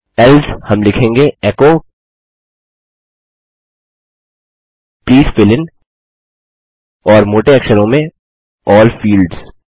else हम लिखेंगे echo please fill in और मोटे अक्षरों में अल्ल फील्ड्स